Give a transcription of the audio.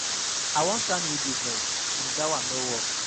I wan start new business since dat one no work